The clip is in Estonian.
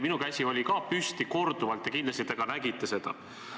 Samuti oli mu käsi püsti, korduvalt, ja kindlasti te nägite seda.